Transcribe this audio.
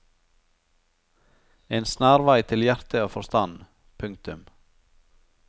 En snarvei til hjerte og forstand. punktum